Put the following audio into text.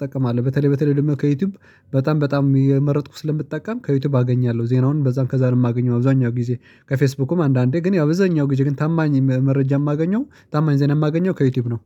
ጠቀማለሁ በተለይ በተለይ ደግሞ ከዩቲዩብ በጣም በጣም የመረጥኩ ስለምጠቀም ከዩቲዩብ አገኛለሁ። ዜናውን በዛም ከዛም የማገኘው አብዛኛው ጊዜ ከፌስቡክም አንዳንዴ ግን ያው ብዙኛው ግን ታማኝ መረጃ የማገኘው ታማኝ ዜና የማገኘው ከዩቲዩብ ነው።